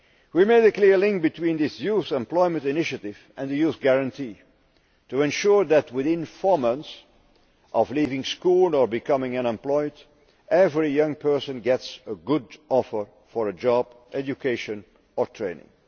We made a clear link between this Youth Employment Initiative and the Youth Guarantee to ensure that within four months of leaving school or becoming unemployed, every young person gets a good offer for a job, education or training.